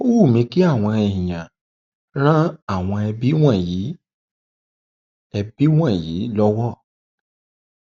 um ó wù mí kí àwọn um èèyàn ran àwọn ẹbí wọnyí ẹbí wọnyí lọwọ